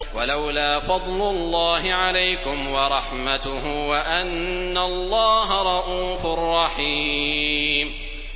وَلَوْلَا فَضْلُ اللَّهِ عَلَيْكُمْ وَرَحْمَتُهُ وَأَنَّ اللَّهَ رَءُوفٌ رَّحِيمٌ